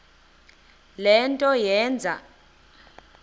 le nto yenze